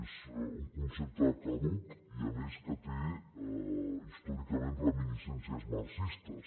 és un concepte caduc i a més que té històricament reminiscències marxistes